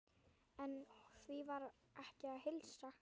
En því var ekki að heilsa.